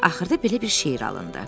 Axırda belə bir şeir alındı.